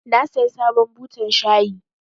Na saya sabon butan shayi.